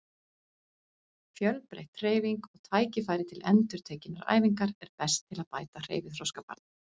Fjölbreytt hreyfing og tækifæri til endurtekinnar æfingar er best til að bæta hreyfiþroska barna.